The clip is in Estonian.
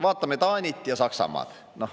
Vaatame Taanit ja Saksamaad.